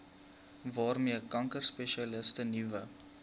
waarmee kankerspesialiste nuwe